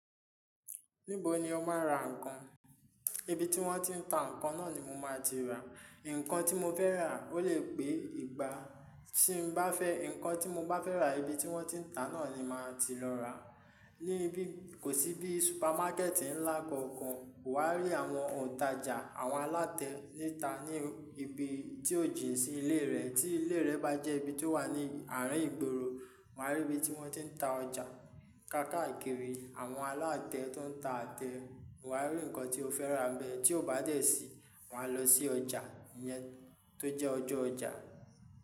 Níbo ni o máa ń ra ǹkan? Ibi tí wọ́n tí ń ta ǹkan náà ni mo máa ti rà. Ǹkan tí mo fẹ́ rà, ó le pé igba. Tí n bá fẹ́ ǹkan tí mo bá fẹ́ rà, ibi tí wọ́n ti ń ta náà ni màá ti lọ rà. Ní ibi kò sí bí supermákẹ́ẹ̀tì ńlá kankan, o wa rí àwọn òǹtajà, àwọn alátẹ níta ní ibi tí ò jín sí ilé rẹ. Tí ilé rẹ bá jẹ́ ibi tí ó wà ní àárín ìgboro, wáá rí ibi tí wọ́n ti ń ta ọjà. Káàkiri àwọn alátẹ tó ń ta atẹ, wáá rí ǹkan tí o fẹ́ rà bẹ́ẹ̀. Tí o bá dẹ̀ síi, wà a lọ sí ọjà ìyẹn tó jẹ́ ọjọ́ ọjà.